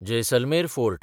Jaisalmer fort